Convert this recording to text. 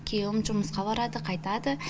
күйеуім жұмысқа барады қайтады